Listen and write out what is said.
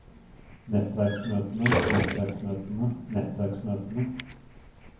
nettverksmøtene nettverksmøtene nettverksmøtene